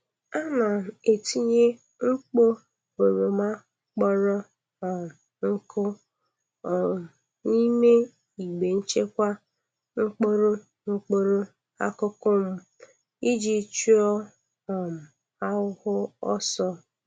Ana m etinye mkpo oroma kpọrọ um nkụ um n'ime igbe nchekwa mkpụrụ mkpụrụ akụkụ m iji chụọ um ahụhụ ọsọ.